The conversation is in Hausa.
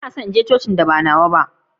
Banna son zuwa wani ikilisiya daban da nawa.